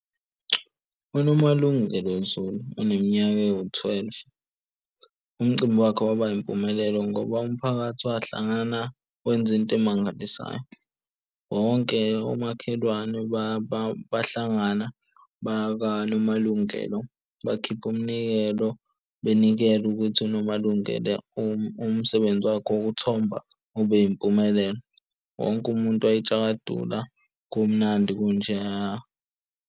UNomalungelo Zulu uneminyaka ewu-twelve. Umcimbi wakhe waba impumelelo ngoba umphakathi wahlangana wenza into emangalisayo. Wonke omakhelwane bahlangana baka Nomalungelo bakhipha umnikelo benikela ukuthi uNomalungelo umsebenzi wakhe wokuthomba ube yimpumelelo. Wonke umuntu wayetshakadula kumnandi kunjeyaya.